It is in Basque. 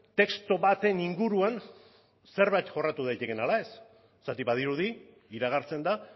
testu baten inguruan zerbait jorratu daitekeen ala ez zergatik badirudi iragartzen da